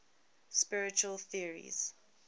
spiritual theories